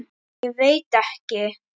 Ég veit ekki.